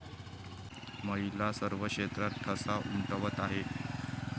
महिला सर्व क्षेत्रात ठसा उमटवत आहेत.